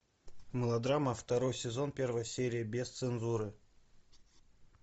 мылодрама второй сезон первая серия без цензуры